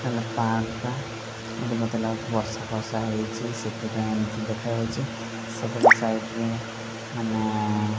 ହେଲେ ପାହାଡ ଟା ମୋତେ ବୋଧେ ଲାଗୁଚି ବର୍ଷା ଫର୍ଷା ହେଇଚି ସେଥି ପାଇଁ ଏମତି ଦେଖାଯାଉଚି ସେପଟ ସାଇଟ୍ ରେ ମାନେ।